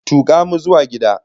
Tuka mu zuwa gida!